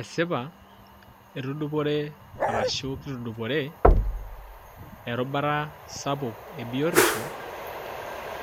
Esipa etudupore ashu kitudupore erishata sapuk ebiotisho